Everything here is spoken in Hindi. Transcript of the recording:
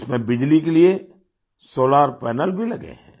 इसमें बिजली के लिए सोलार पनेल भी लगे हैं